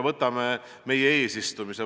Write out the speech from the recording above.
Võtame meie eesistumise.